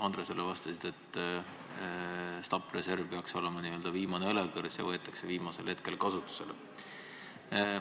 Andresele vastates lõpetasid, et stabiliseerimisreserv peaks olema n-ö viimane õlekõrs ja et see võetakse kasutusele viimasel hetkel.